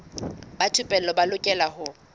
ba thupelo ba lokela ho